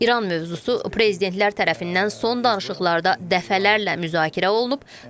İran mövzusu prezidentlər tərəfindən son danışıqlarda dəfələrlə müzakirə olunub.